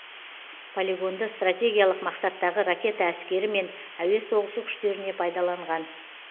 полигонды стратегиялық мақсаттағы ракета әскері мен әуе соғысы күштеріне пайдаланған